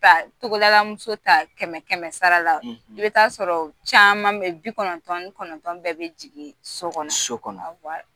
Ka togodalamuso ta kɛmɛ kɛmɛ sara la i bɛ t'a sɔrɔ caman bɛ bi kɔnɔntɔn ni kɔnɔntɔn bɛɛ bɛ jigin sokɔnɔ sokɔnɔ